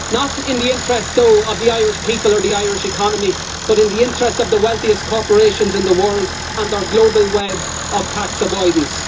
Not in the interests, though, of the Irish people or the Irish economy, but in the interests of the wealthiest corporations in the world and our global web of tax avoidance.